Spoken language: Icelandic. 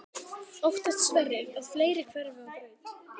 Óttast Sverrir að fleiri hverfi á braut?